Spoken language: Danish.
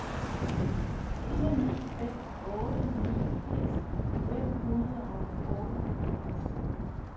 fire ni fem otte niogfirs fem hundrede og otteoghalvfjerds